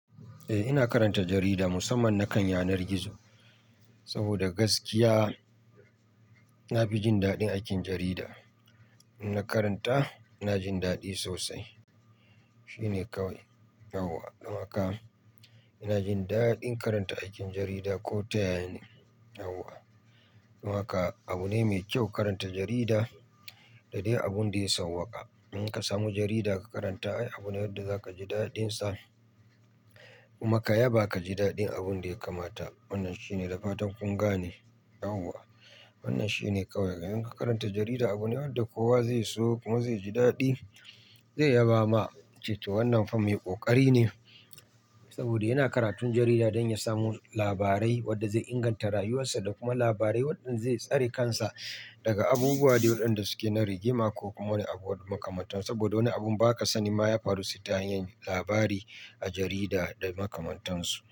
Eh ina karanta jarida musamman na kan yanar gizo saboda gaskiya na fi jin daɗin aikin jarida. In na karanta ina jin daɗin sosai. Shine kawai. Yauwa don haka ina jin daɗin karanta aikin jarida ko ta ya ya ne yauwa don haka abu ne me kyau karanta jarida da dai abun da ya sauwaƙa. Ina ka samu jarida ka karanta ai abu ne wanda zaka ji daɗin sa kuma ka yaba ka ji daɗin abun da ya kamata wannan shi ne da fatan kun gane yauwa wannan shi ne kawai don in ka karanta jarida abu ne wanda kowa zai so kuma zai ji daɗin. Zai yaba ma ya ce to wannan fa me ƙoƙari ne saboda yana karatun jarida don ya samo labare wanda zai inganta rayuwasa da kuma labare wanda zai tsare kansa daga abubuwa wanɗan da suke na rigima ko kuma wani abu makamanta saboda wani abun baka sanin ma ya faru sai ta hanyan labari a jarida da makamantan su.